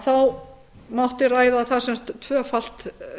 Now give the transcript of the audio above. þá mátti ræða það sem sagt tvöfalt